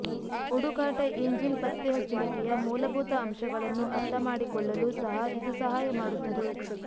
ಹುಡುಕಾಟ ಇಂಜಿನ್ ಪತ್ತೆಹಚ್ಚುವಿಕೆಯ ಮೂಲಭೂತ ಅಂಶಗಳನ್ನು ಅರ್ಥಮಾಡಿಕೊಳ್ಳಲು ಸಹ ಇದು ಸಹಾಯ ಮಾಡುತ್ತದೆ